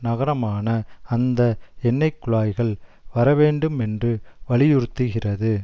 நகரமான அந்த எண்ணெய்குழாய்கள் வரவேண்டுமென்று வலியுறுத்துகிறது